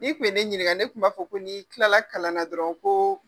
N'i tun ye ne ɲininka ne tun b'a fɔ ko nii tilala kalanna dɔrɔn ko